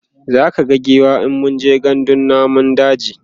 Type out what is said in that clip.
zaka ga giwa in mun je gandun namun daji